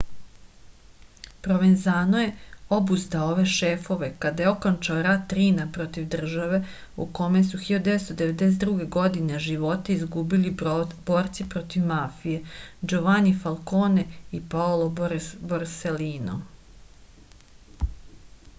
provenzano je obuzdao ove šefove kada je okončao rat rina protiv države u kome su 1992. godine živote izgubili borci protiv mafije đovani falkone i paolo borselino